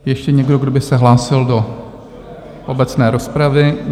Ještě někdo, kdo by se hlásil do obecné rozpravy?